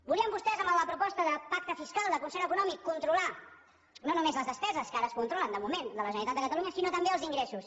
volien vostès amb la proposta de pacte fiscal de concert econòmic controlar no només les despeses que ara es controlen de moment de la generalitat de catalunya sinó també els ingressos